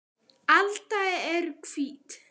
alba eru hvít.